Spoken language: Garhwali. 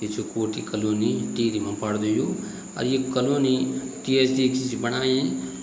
यी छु कोठी कॉलोनी टिहरी मा पड़द यु अर ये कॉलोनी टी.एच.डी.सी. कि छी बणायी।